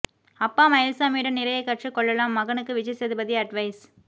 அப்பா மயில்சாமியிடம் நிறைய கற்றுக்கொள்ளலாம் மகனுக்கு விஜய் சேதுபதி அட்வைஸ்